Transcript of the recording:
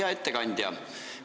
Hea ettekandja!